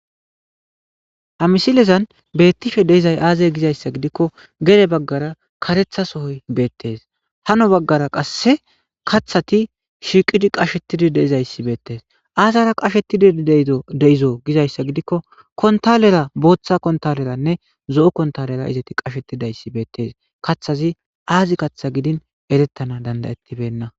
Hamisilezan beettifhe deizay aazey gizayssa gidikko gere baggara karetha sohoy beettees hano baggara qasse kathati shiiqidi qashetidi deizayssi beettees aazara qashetidi ddeizo gizayssa gidikko kontalera booththa kontaleranne zo7o kontalera izeti qashetidayssi beettees kathazi aazi katha gidin erettana dandayettibenna.